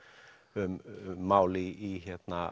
um mál í